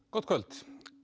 gott kvöld